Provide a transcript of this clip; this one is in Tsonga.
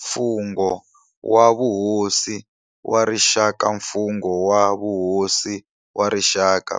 Mfungho wa Vuhosi wa Rixaka Mfungho wa vuhosi wa rixaka,